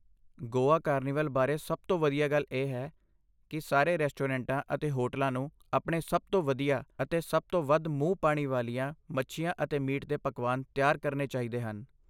Goa carnival ਬਾਰੇ ਸਭ ਤੋਂ ਵਧੀਆ ਗੱਲ ਇਹ ਹੈ ਕਿ ਸਾਰੇ ਰੈਸਟੋਰੈਂਟਾਂ ਅਤੇ ਹੋਟਲਾਂ ਨੂੰ ਆਪਣੇ ਸਭ ਤੋਂ ਵਧੀਆ ਅਤੇ ਸਭ ਤੋਂ ਵੱਧ ਮੂੰਹ ਪਾਣੀ ਵਾਲੀਆਂ ਮੱਛੀਆਂ ਅਤੇ ਮੀਟ ਦੇ ਪਕਵਾਨ ਤਿਆਰ ਕਰਨੇ ਚਾਹੀਦੇ ਹਨ